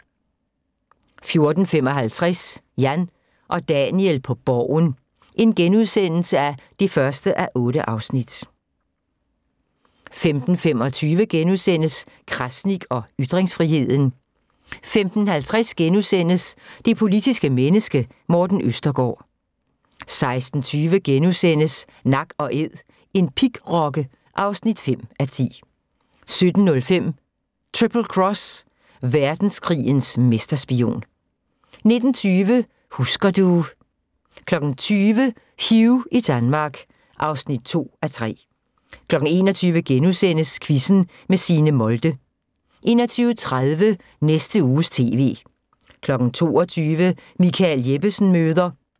14:55: Jan og Daniel på Borgen (1:8)* 15:25: Krasnik og ytringsfriheden * 15:50: Det politiske menneske – Morten Østergaard * 16:20: Nak & Æd – en pigrokke (5:10)* 17:05: Triple Cross, verdenskrigens mesterspion 19:20: Husker du ... 20:00: Hugh i Danmark (2:3) 21:00: Quizzen med Signe Molde * 21:30: Næste Uges TV 22:00: Michael Jeppesen møder ...